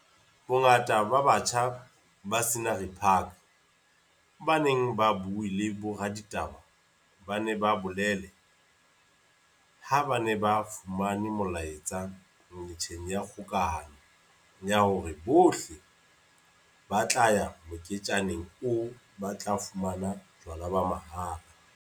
Bongata ba batjha ba Scenery Park ba neng ba bue le boraditaba ba ne ba bolele ha ba ne ba fumane molaetsa metjheng ya kgokahano ya hore bohle ba tla ya moketjaneng oo ba tla fumana jwala ba mahala.